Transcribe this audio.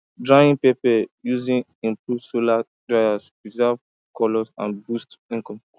drying pepper using improved solar dryers preserves colour and boosts income